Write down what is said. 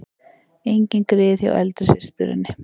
Engin grið hjá eldri systurinni